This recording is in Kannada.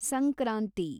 ಸಂಕ್ರಾಂತಿ